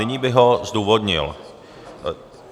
Nyní bych ho zdůvodnil.